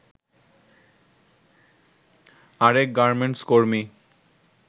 আরেক গার্মেন্টস কর্মী